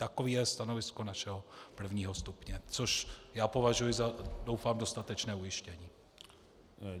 Takové je stanovisko našeho prvního stupně, což já považuji za - doufám - dostatečné ujištění.